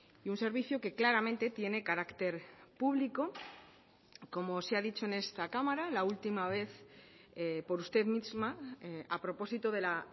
y un servicio que claramente tiene carácter público como se ha dicho en esta cámara la última vez por usted misma a propósito de la